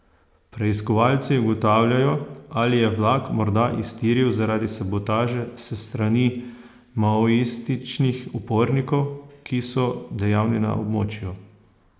Preiskovalci ugotavljajo, ali je vlak morda iztiril zaradi sabotaže s strani maoističnih upornikov, ki so dejavni na območju.